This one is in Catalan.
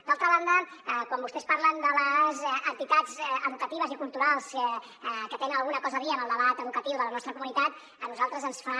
d’altra banda quan vostès parlen de les entitats educatives i culturals que tenen alguna cosa a dir en el debat educatiu de la nostra comunitat a nosaltres ens fa